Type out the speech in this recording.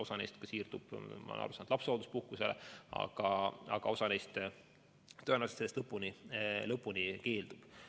Osa neist siirdub, nagu ma olen aru saanud, lapsehoolduspuhkusele, aga osa neist tõenäoliselt sellest lõpuni keeldub.